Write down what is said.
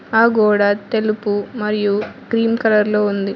ఆ గోడ తెలుపు మరియు క్రీం కలర్ లో ఉంది.